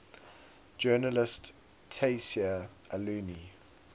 journalist tayseer allouni